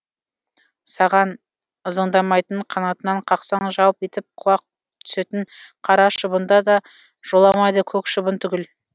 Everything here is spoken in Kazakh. саған ызыңдамайтын қанатынан қақсаң жалп етіп құлап түсетін қара шыбында да жоламайды көк шыбын түгіл